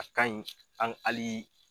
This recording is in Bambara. A ka ɲi an hali